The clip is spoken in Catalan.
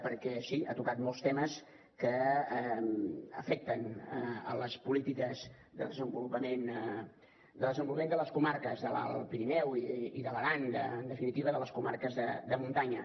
perquè sí ha tocat molts temes que afecten les polítiques de desenvolupament de les comarques de l’alt pirineu i de l’aran en definitiva de les comarques de muntanya